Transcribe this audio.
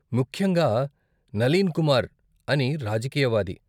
ముఖ్యంగా నలీన్ కుమార్ అని రాజకీయవాది.